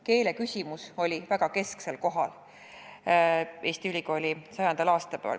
Keeleküsimus oli Eesti ülikooli 100. aastapäeval väga kesksel kohal.